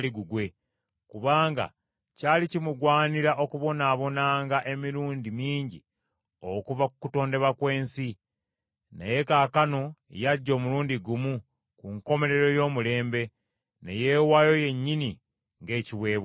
kubanga kyali kimugwanira okubonaabonanga emirundi mingi okuva ku kutondebwa kw’ensi. Naye kaakano yajja omulundi gumu ku nkomerero y’omulembe, ne yeewaayo yennyini ng’ekiweebwayo.